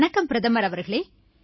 வணக்கம் பிரதமர் அவர்களே